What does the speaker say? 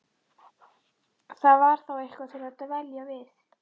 Það var þá eitthvað til að dvelja við.